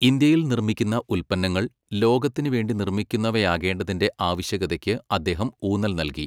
ഇന്ത്യയിൽ നിർമ്മിക്കുന്ന ഉൽപ്പന്നങ്ങൾ ലോകത്തിന് വേണ്ടി നിർമ്മിക്കുന്നവാകേണ്ടതിന്റെ ആവശ്യകതയ്ക്ക് അദ്ദേഹം ഊന്നൽ നൽകി.